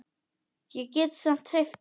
Ég get samt hreyft mig.